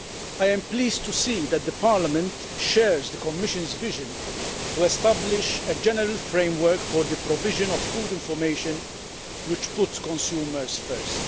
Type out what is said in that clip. I am pleased to see that the Parliament shares the Commission's vision to establish a general framework for the provision of food information which puts consumers first.